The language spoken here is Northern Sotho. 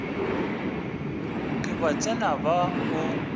ke ba tsena ba o